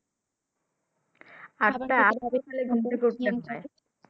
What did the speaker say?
আচ্ছা ঘুম থেকে উঠতে হয়।